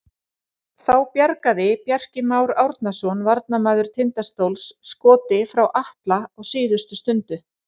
Þá bjargaði Bjarki Már Árnason varnarmaður Tindastóls skoti frá Atla á síðustu stundu.